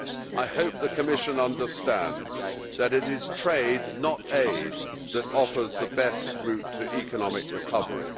I hope the Commission understands that it is trade, not aid, that offers the best route to economic recovery.